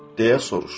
Deyə soruşdu.